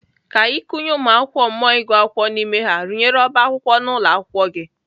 Ka ị kụnye ụmụakwụkwọ mmụọ ịgụ akwụkwọ n'ime ha, rụnyere ọba akwụkwọ n'ụlọ akwụkwọ gị.